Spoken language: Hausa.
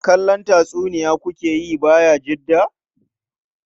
Kallon tatsuniya ku ke yi Bayajidda?